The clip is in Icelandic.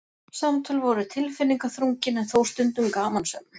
Samtöl voru tilfinningaþrungin en þó stundum gamansöm.